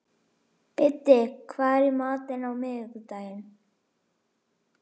Biddi, hvað er í matinn á miðvikudaginn?